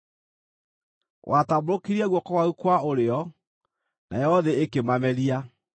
Watambũrũkirie guoko gwaku kwa ũrĩo, nayo thĩ ĩkĩmameria.